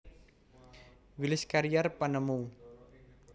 Willis Carrier penemu